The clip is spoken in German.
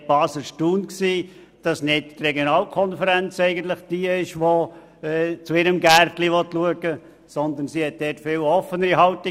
Ich war erstaunt, dass die Regionalkonferenz nicht zu ihrem «Gärtlein» schauen wollte, sondern diese eine viel offenere Haltung hatte.